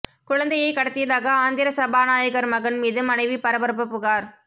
குழந்தையை கடத்தியதாக ஆந்திர சபாநாயகர் மகன் மீது மனைவி பரபரப்புப் புகார்